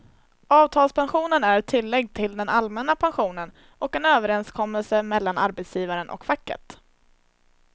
Avtalspensionen är ett tillägg till den allmänna pensionen och en överenskommelse mellan arbetsgivaren och facket.